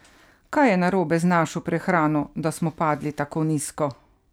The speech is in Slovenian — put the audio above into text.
Kaj je narobe z našo prehrano, da smo padli tako nizko?